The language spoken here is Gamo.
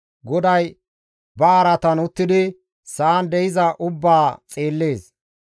GODAY ba araatan uttidi sa7an de7iza ubbaa xeellees.